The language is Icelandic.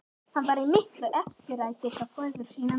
Var hann í miklu eftirlæti hjá föður sínum.